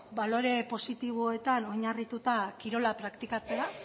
balore positiboetan oinarrituta kirola praktikatzea